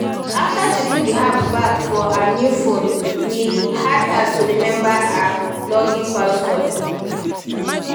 after she put the app back for her new phone e hard her to remember her login password